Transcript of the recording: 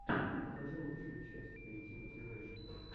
покажи лучшую часть эйти мотивэйшен